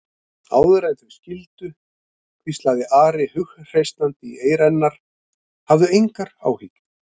Áður en þau skildu hvíslaði Ari hughreystandi í eyra hennar: Hafðu engar áhyggjur.